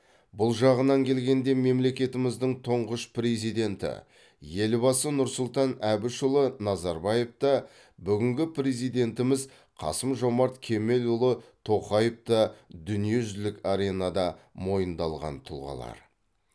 бұл жағынан келгенде мемлекетіміздің тұңғыш президенті елбасы нұрсұлтан әбішұлы назарбаев та бүгінгі президентіміз қасым жомарт кемелұлы тоқаев та дүниежүзілік аренада мойындалған тұлғалар